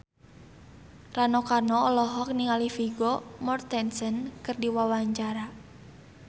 Rano Karno olohok ningali Vigo Mortensen keur diwawancara